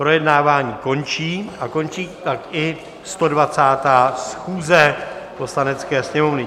Projednávání končí a končí tak i 120. schůze Poslanecké sněmovny.